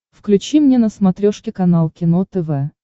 включи мне на смотрешке канал кино тв